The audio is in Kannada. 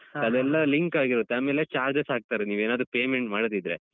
ಅದೆಲ್ಲ link ಆಗಿರುತ್ತೆ ಆಮೇಲೆ charges ಹಾಕ್ತಾರೆ ನೀವೇನಾದ್ರು payment ಮಾಡದಿದ್ರೆ.